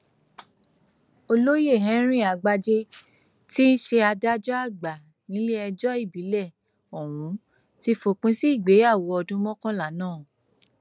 olóyè henry àgbájé tí í ṣe adájọ àgbà nílẹẹjọ ìbílẹ ọhún ti fòpin sí ìgbéyàwó ọdún mọkànlá náà